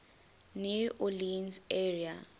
new orleans area